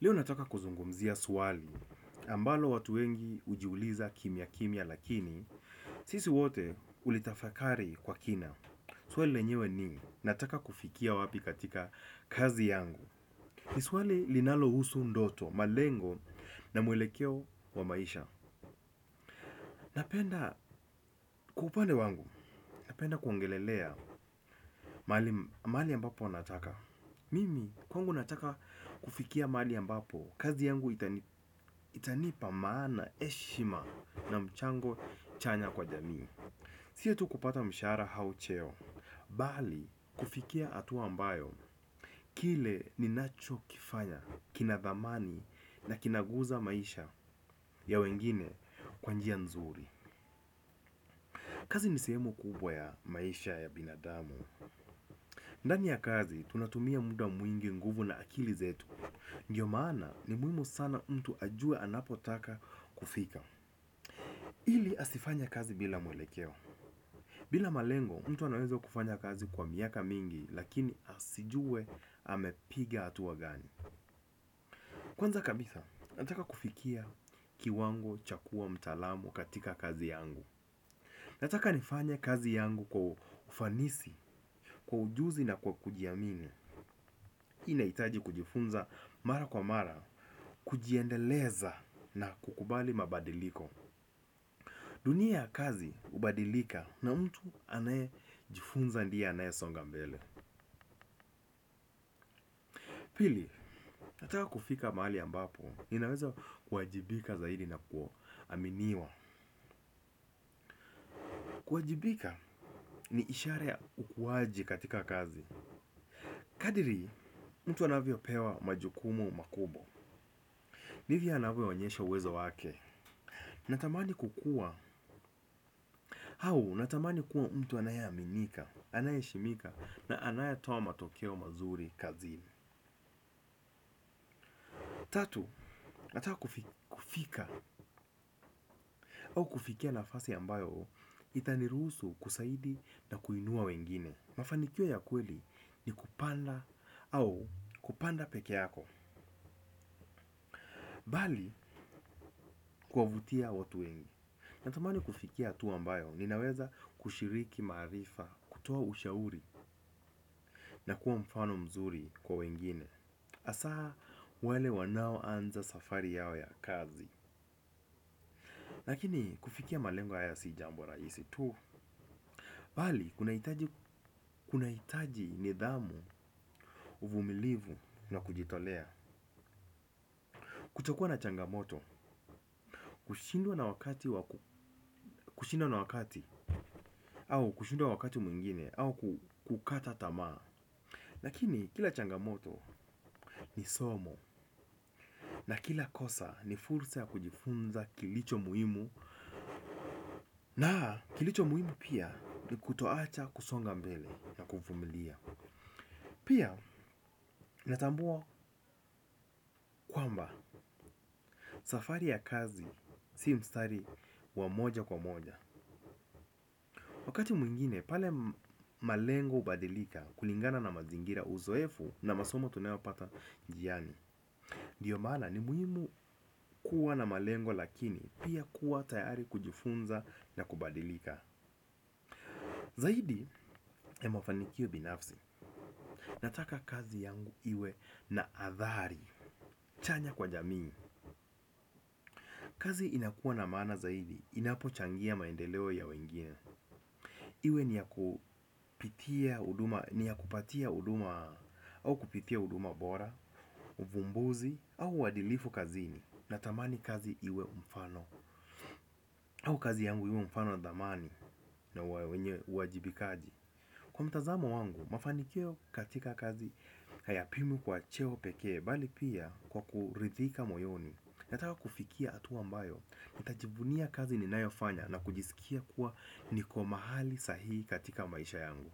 Leo nataka kuzungumzia swali, ambalo watu wengi hujiuliza kimia kimia lakini, sisi wote hulitafakari kwa kina. Swali lenyewe ni, nataka kufikia wapi katika kazi yangu. Ni swali linalohusu ndoto, malengo na mwelekeo wa maisha. Napenda kwa upande wangu, napenda kuongelelea mahali ambapo nataka. Mimi kwangu nataka kufikia mahali ambapo, kazi yangu itanipa maana heshima na mchango chanya kwa jamii. Si tu kupata mshara au cheo, bali kufikia hatua ambayo, kile ni nachokifanya, kina dhamani na kinaguza maisha ya wengine kwa njia nzuri. Kazi ni sehemu kubwa ya maisha ya binadamu. Ndani ya kazi, tunatumia muda mwingi nguvu na akili zetu. Ndiyo maana ni muhimu sana mtu ajue anapotaka kufika. Ili asifanye kazi bila mwelekeo. Bila malengo, mtu anaweza kufanya kazi kwa miaka mingi, lakini asijue amepiga hatua gani. Kwanza kabisa nataka kufikia kiwango cha kuwa mtaalamu katika kazi yangu. Nataka nifanye kazi yangu kwa ufanisi, kwa ujuzi na kwa kujiamini. Hii nahitaji kujifunza mara kwa mara, kujiendeleza na kukubali mabadiliko dunia ya kazi hubadilika na mtu anayejifunza ndiye anayesonga mbele. Pili, nataka kufika mahali ambapo, ninaweza kuajibika zaidi na kuaminiwa kuajibika ni ishara ya ukuaji katika kazi, kadri mtu anavyopewa majukumu mapya, ndivyo anavyoonyshwa uwezo wake, natamani au, natamani kuwa mtu anayeaminika, anayeheshimika na anayetoa matokeo mazuri kazini. Tatu, nataka kufika au kufikia nafasi ambayo itaruhusu kusaidi na kuinua wengine. Mafanikio ya kweli ni kupanda au kupanda peke yako, bali kuwavutia watu wengi. Natamani kufikia hatua ambayo ninaweza kushiriki maarifa, kutoa ushauri na kuwa mfano mzuri kwa wengine. Hasaa wale wanaoanza safari yao ya kazi lakini kufikia malengo haya si jambo rahisi tu bali, kunahitaji nidhamu, uvumilivu na kujitolea. Kutokua na changamoto, kushindwa na wakati. Kushindwa na wakati, au kushindwa wakati mwingine au kukata tamaa lakini kila changamoto ni somo. Na kila kosa ni fursa ya kujifunza kilichomuhimu. Na kilichomuhimu pia ni kutoacha kusonga mbele na kuvumilia. Pia natambua kwamba safari ya kazi si mstari wa moja kwa moja. Wakati mwingine pale malengo hubadilika kulingana na mazingira uzoefu na masomo tunayopata njiani ndio maana ni muhimu kuwa na malengo lakini pia kuwa tayari kujifunza na kubadilika zaidi ya mafanikio binafsi nataka kazi yangu iwe na adhari chanya kwa jamii, kazi inakua na maana zaidi inapochangia maendeleo ya wengine. Iwe ni ya kupitia huduma, ni ya kupatia huduma, au kupitia huduma bora, uvumbuzi, au uadilifu kazini. Natamani kazi iwe mfano, au kazi yangu iwe mfano dhamani na uajibikaji. Kwa mtazamo wangu, mafanikio katika kazi hayapimwi kwa cheo pekee bali pia kwa kuridhika moyoni. Nataka kufikia hatua ambayo, nitajivunia kazi ni nayofanya na kujisikia kuwa niko mahali sahihi katika maisha yangu.